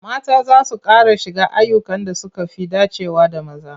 Mata za su ƙara shiga ayyukan da suka fi dacewa da maza.